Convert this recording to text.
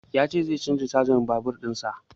Ya ce zai canza tayan babur in sa